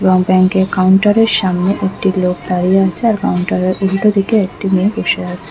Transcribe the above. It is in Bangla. এবং ব্যাংকার কাউন্টার সামনে দুটো লোক দাঁড়িয়ে আছে আর কাউন্টার -এর উল্টো দিকে একটি মেয়ে বসে আছে ।